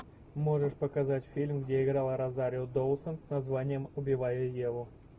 можешь показать фильм где играла розарио доусон с названием убивая еву